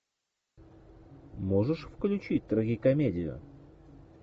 можешь включить трагикомедию